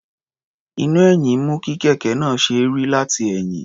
Iná-ẹ̀yìn mú kí kẹ̀kẹ́ náà ó ṣe é rí látẹ̀yìn.